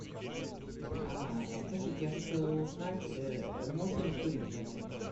а скажите я хотела узнать можно ли курить в отеле